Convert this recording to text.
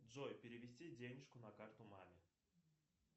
джой перевести денежку на карту маме